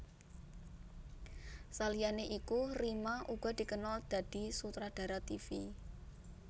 Saliyané iku Rima uga dikenal dadi sutradara tivi